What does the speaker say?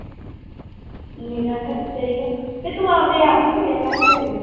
ਨਿਰਾ ਖਰਚਾ ਹੀ ਆ, ਤੇ ਤੂੰ ਆਪਦੇ ਆਪ ਹੀ ਸੀਅ ਲਿਆ ਕਰ ਹਾਂ ਘਰੇ।